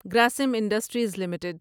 Grasim industries limited